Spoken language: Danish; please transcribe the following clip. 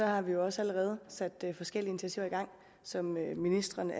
har vi også allerede sat forskellige initiativer i gang som ministrene